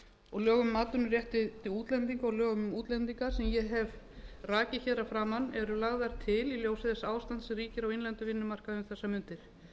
og lögum um atvinnuréttindi útlendinga og lögum um útlendinga sem ég hef rakið að framan eru lagðar til í ljósi þess ástands sem ríkir á innlendum vinnumarkaði um þessar mundir